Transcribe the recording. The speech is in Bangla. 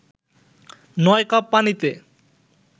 ৯ কাপ পানিতে